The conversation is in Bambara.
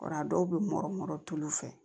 O a dɔw be mɔrɔ mɔrɔturu fɛ